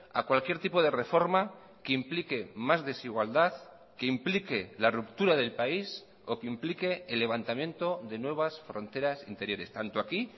a cualquier tipo de reforma que implique más desigualdad que implique la ruptura del país o que implique el levantamiento de nuevas fronteras interiores tanto aquí